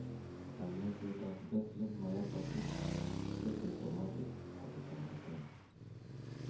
Konyaisetap Bethlem myopathy ko symptomatic ako toretin.